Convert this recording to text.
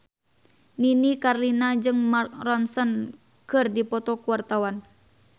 Nini Carlina jeung Mark Ronson keur dipoto ku wartawan